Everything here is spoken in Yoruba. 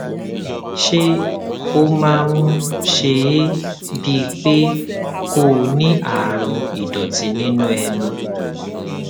ṣé ó máa ń ṣe é bíi pé kó o ní àrùn ìdòtí nínú ẹnu